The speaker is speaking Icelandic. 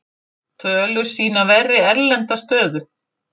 Tölur sýna verri erlenda stöðu